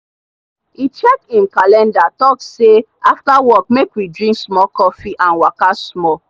e check him calendarhe talk say after work make we drink small coffee and waka small.